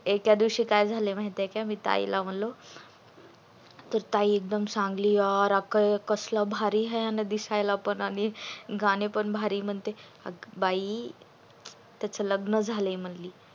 एका दिवशी काय झाले माहीत आहे का मी ताई ला म्हणलो की ताई एकदम चांगली रॉक आहे कसल भारी आहे आणि कसल दिसायला पण आणि गाणी पण भारी म्हणतय अग बाई त्याच लग्न झालय म्हणली